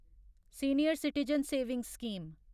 senior citizen savings scheme